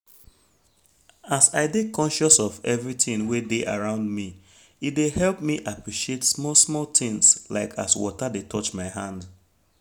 as i dey conscious of everything wey dey around me e dey help me appreciate small small things like as water dey touch my hand